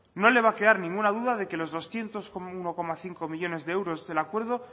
no le va a quedar ninguna duda de que los doscientos como uno coma cinco millónes de euros del acuerdo